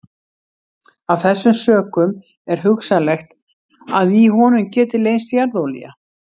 Af þessum sökum er hugsanlegt að í honum geti leynst jarðolía.